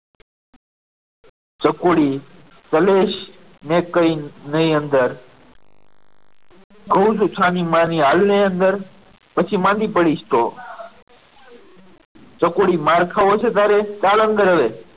ચકુડી કલેશ ને કહી નઈ અંદર તું જ છાનીમાની આવને અંદર પછી માંદી પડીશ ત ચકુડી માર ખાવો છે? તારે ચાલ અંદર હવે